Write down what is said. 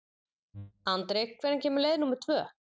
Andri, hvenær kemur leið númer tvö?